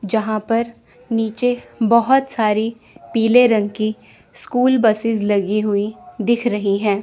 जहां पर नीचे बहोत सारी पीले रंग की स्कूल बसेज लगी हुई दिख रही है।